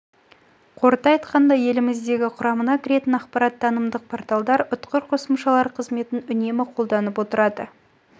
қорыта айтқанда еліміздегі құрамына кіретін ақпараттықтанымдық порталдар ұтқыр қосымшалар қызметін үнемі қолданылып отырады